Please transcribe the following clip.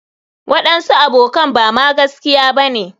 waɗansu abokan Bama gaskiya bane.